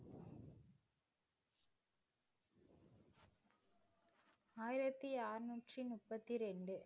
ஆயிரத்தி அறுநூற்று முப்பத்தி இரண்டு